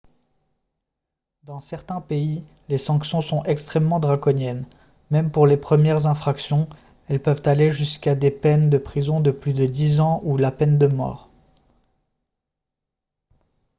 dans certains pays les sanctions sont extrêmement draconiennes même pour les premières infractions elles peuvent aller jusqu'à des peines de prison de plus de dix ans ou la peine de mort